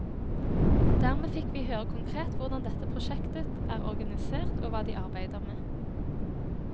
Dermed fikk vi høre konkret hvordan dette prosjektet er organisert og hva de arbeider med.